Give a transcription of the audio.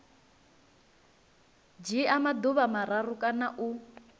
dzhia maḓuvha mararu kana u